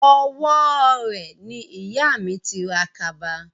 Owó rẹ̀ ni ìyà mi ti ra kaba